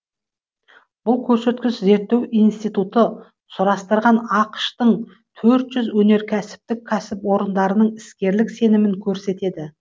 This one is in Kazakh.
бұл көрсеткіш зерттеу институты сұрастырған ақш тың төрт жүз өнеркәсіптік кәсіпорындарының іскерлік сенімін көрсетеді